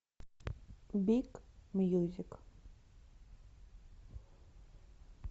биг мьюзик